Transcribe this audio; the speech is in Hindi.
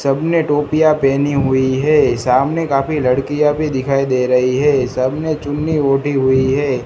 सब ने टोपिया पहनी हुई है सामने काफी लड़कियां भी दिखाई दे रही हैं सब ने चुन्नी ओढ़ी हुई है।